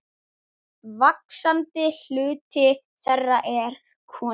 Vaxandi hluti þeirra er konur.